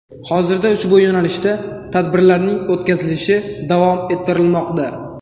Hozirda ushbu yo‘nalishda tadbirlarning o‘tkazilishi davom ettirilmoqda.